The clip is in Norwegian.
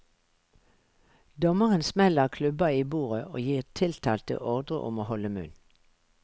Dommeren smeller klubba i bordet og gir tiltalte ordre om å holde munn.